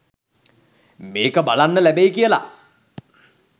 මේක බලන්න ලැබෙයි කියලා.